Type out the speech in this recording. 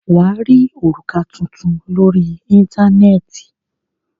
Wà á rí òrùka tuntun lórí Íńtánẹ́ẹ̀tì.